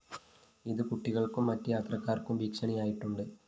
ഇത് കുട്ടികള്‍ക്കും മറ്റ് യാത്രക്കാരും ഭീഷണിയായിട്ടുണ്ട്